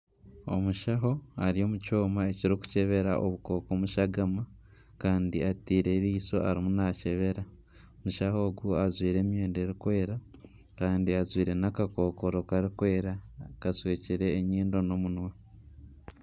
Omushaho ari omu kyoma ekirikukyebera obukooko omu shagama, kandi ataireho eriisho arimu nakyebera , omushaho ogu ajwaire emyenda erikwera kandi ajwaire nakakokoro karikwera ,akashwekire enyindo nana omunwa.